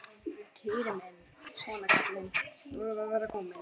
Týri minn, svona kallinn, nú erum við að verða komin.